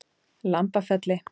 Lambafelli